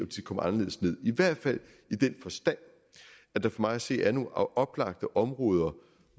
de kommer anderledes ned i hvert fald i den forstand at der for mig at se er nogle oplagte områder